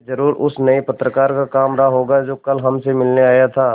यह ज़रूर उस नये पत्रकार का काम रहा होगा जो कल हमसे मिलने आया था